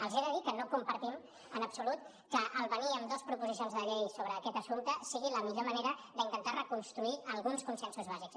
els he de dir que no compartim en absolut que venir amb dos proposicions de llei sobre aquest assumpte sigui la millor manera d’intentar reconstruir alguns consensos bàsics